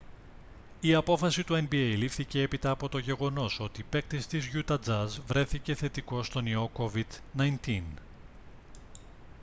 η απόφαση του nba λήφθηκε έπειτα από το γεγονός ότι παίκτης της γιούτα τζαζ βρέθηκε θετικός στον ιό covid-19